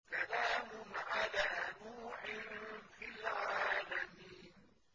سَلَامٌ عَلَىٰ نُوحٍ فِي الْعَالَمِينَ